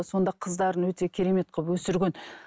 сонда қыздарын өте керемет қылып өсірген